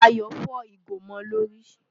Ayọ̀ fọ́ ìgò mọ́ ọ lórí.